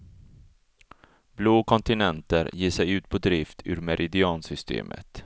Blå kontinenter ger sig ut på drift ur meridiansystemet.